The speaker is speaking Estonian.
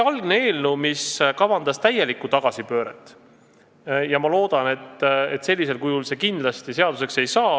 Algne eelnõu kavandas täielikku tagasipööret ja ma loodan, et sellisel kujul see seaduseks ei saa.